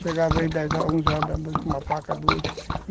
Chegava aí às dez horas, onze horas da noite com uma paca, duas.